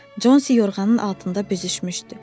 Consi yorğanın altında büzüşmüşdü.